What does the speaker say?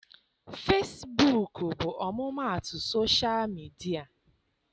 Fesibuuku bụ ọmụmaatụ sosha midịa.